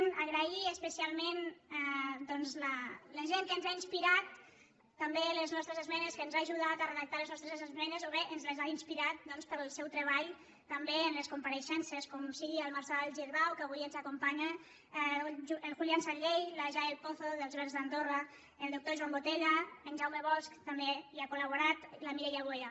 donar les gràcies especialment doncs a la gent que ens ha inspirat també en les nostres es·menes que ens ha ajudat a redactar les nostres esme·nes o bé ens les ha inspirat pel seu treball també en les compareixences com sigui el marçal girbau que avui ens acompanya el julián sanllehy la jael po·zo dels verds d’andorra el doctor joan botella en jaume bosch també hi ha col·laborat la mireia boya